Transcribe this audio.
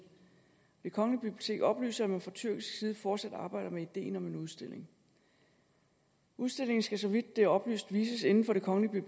det kongelige bibliotek oplyser at man fra tyrkisk side fortsat arbejder med ideen om en udstilling udstillingen skal så vidt det er oplyst vises inden for det kongelige